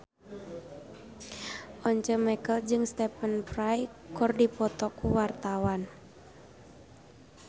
Once Mekel jeung Stephen Fry keur dipoto ku wartawan